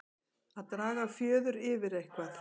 Að draga fjöður yfir eitthvað